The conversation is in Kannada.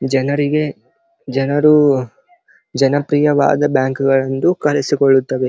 ಜನರಿಗೆ ಜನರು ಜನಪ್ರಿಯವಾದ ಬ್ಯಾಂಕ್ ಗಳೆಂದು ಕರೆಸಿಕೊಳ್ಳುತ್ತದೆ.